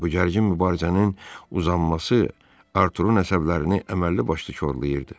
Bu gərgin mübarizənin uzanması Arturunun əsəblərini əməlli-başlı korlayırdı.